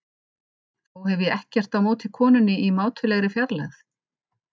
Þó hef ég ekkert á móti konunni í mátulegri fjarlægð.